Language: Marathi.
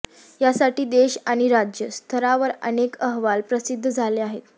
यासाठी देश आणि राज्य स्तरावर अनेक अहवाल प्रसिद्ध झाले आहेत